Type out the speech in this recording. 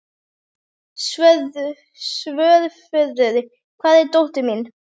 Svörfuður, hvar er dótið mitt?